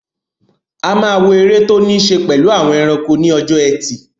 A máa wo eré tó ní ṣe pẹ̀lú àwọn ẹranko ní ọjọ́ ẹtì